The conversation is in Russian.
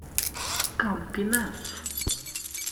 кампинас